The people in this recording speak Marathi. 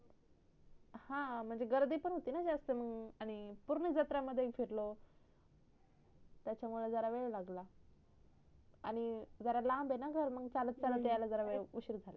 हा म्हणजे गर्दी पण होती न जास्त आणि पूर्ण जत्रा मध्ये फिरलो त्याच्यामुड जरा वेड लागला आणि जरा लंब आहे ना घर मग चालत चालत याला जरा उशीर झाला